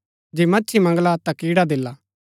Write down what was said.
जे मच्छी मंगला ता कीड़ा देला